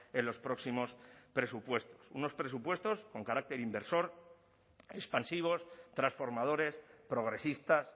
en los próximos presupuestos unos presupuestos con carácter inversor expansivos transformadores progresistas